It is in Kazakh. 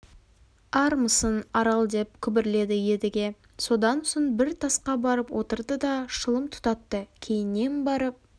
армысың арал деп күбірледі едіге содан соң бір тасқа барып отырды да шылым тұтатты кейіннен барып